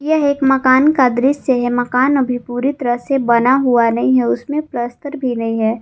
यह एक मकान का दृश्य है मकान अभी पूरी तरह से बना हुआ नहीं है उसमें प्लस्तर भी नहीं है।